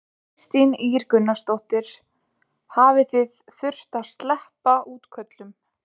Kristín Ýr Gunnarsdóttir: Hafið þið þurft að sleppa útköllum?